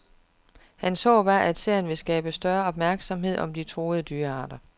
Hans håb er, at serien vil skabe større opmærksomhed om de truede dyrearter.